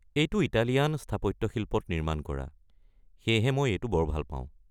এইটো ইটালীয়ান স্থাপত্যশিল্পত নিৰ্মাণ কৰা, সেয়েহে মই এইটো বৰ ভাল পাওঁ।